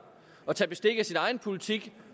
og tage bestik af sin egen politik